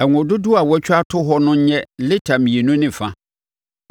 Ngo dodoɔ a wɔatwa ato hɔ no nyɛ lita mmienu ne fa.